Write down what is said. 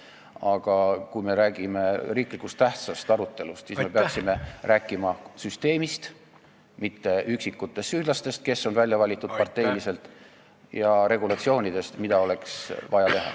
Aga kui me räägime riiklikult tähtsa küsimuse arutelust, siis me peaksime rääkima süsteemist, mitte üksikutest süüdlastest, kes on parteiliselt välja valitud, ja peaksime rääkima regulatsioonidest, mida oleks vaja.